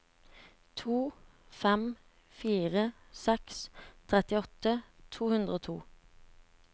to fem fire seks trettiåtte to hundre og to